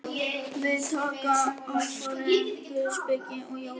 Við taka alfarið guðspeki og jóga.